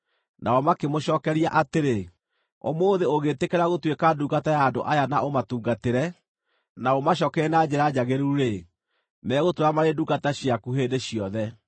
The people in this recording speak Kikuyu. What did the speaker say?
Nao makĩmũcookeria atĩrĩ, “Ũmũthĩ ũngĩĩtĩkĩra gũtuĩka ndungata ya andũ aya na ũmatungatĩre, na ũmacookerie na njĩra njagĩrĩru-rĩ, megũtũũra marĩ ndungata ciaku hĩndĩ ciothe.”